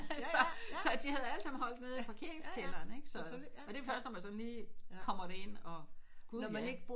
Så så de havde alle sammen holdt nede i parkeringskælderen ikke så og det er først når man sådan lige kommer derind og gud ja